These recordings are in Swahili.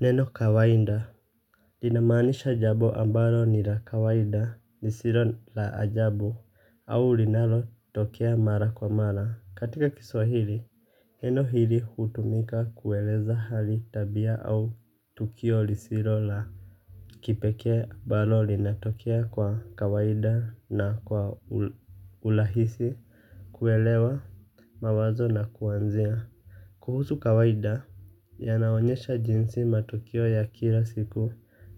Neno kawaida linamaanisha jambo ambalo ni la kawaida. Lisilo la ajabu. Au linalotokea mara kwa mara. Katika kiswahili neno hili hutumika kueleza hali, tabia au tukio lisilo la kipekee ambalo linatokea kwa kawaida na kwa urahisi. Kuelewa mawazo na kuanzia kuhusu kawaida, yanaonyesha jinsi matukio ya kila siku,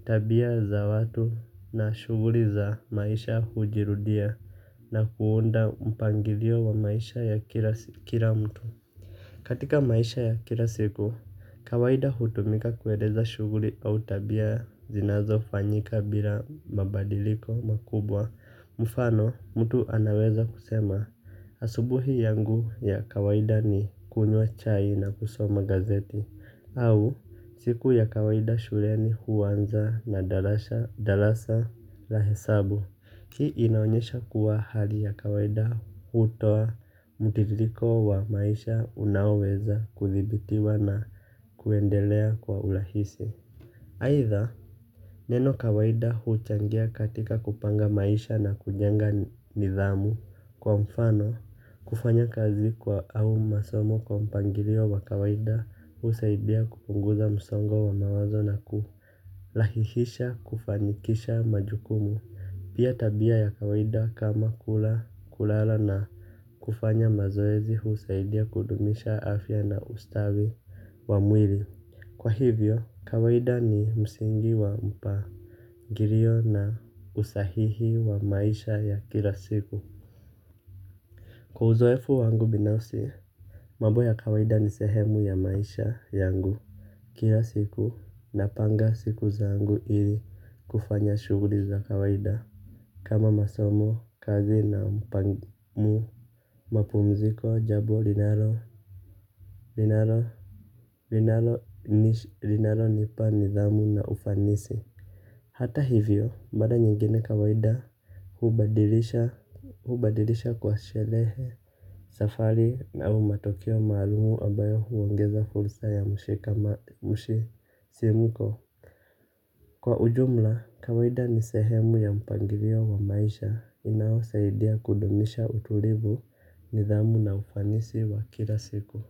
tabia za watu na shughuli za maisha hujirudia na kuunda mpangilio wa maisha ya kila mtu. Katika maisha ya kila siku, kawaida hutumika kueleza shughuli au tabia zinazofanyika bila mabadiliko makubwa. Mfano, mtu anaweza kusema, asubuhi yangu ya kawaida ni kunywa chai na kusoma gazeti. Au, siku ya kawaida shuleni huanza na darasa. La hesabu. Hii inaonyesha kuwa hali ya kawaida hutoa mtiririko wa maisha unaoweza kuthibitiwa na kuendelea kwa urahisi. Aidha neno kawaida huchangia katika kupanga maisha na kujenga nidhamu. Kwa mfano, kufanya kazi au masomo kwa mpangilio wa kawaida husaidia kupunguza msongo wa mawazo na kurahihisha kufanikisha majukumu, pia tabia ya kawaida kama kula, kulala na kufanya mazoezi husaidia kudumisha afya na ustawi wa mwili. Kwa hivyo, kawaida ni msingi wa mpangilio na usahihi wa maisha ya kila siku. Kwa uzoefu wangu binafsi, mambo ya kawaida ni sehemu ya maisha yangu. Kila siku, napanga siku zangu ili kufanya shughuli za kawaida. Kama masomo, kazi na mapumziko, jambo linalonipa nidhamu na ufanisi. Hata hivyo, mara nyingine kawaida hubadilisha kwa sherehe, safari au matokeo maalumu ambayo huongeza fursa ya kama mshisimuko. Kwa ujumla, kawaida ni sehemu ya mpangilio wa maisha unaosaidia kudumisha utulivu, nidhamu na ufanisi wa kila siku.